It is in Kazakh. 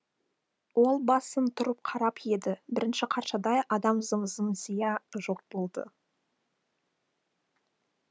ол басын бұрып қарап еді бірінші қаршадай адам зым зия жоқ болды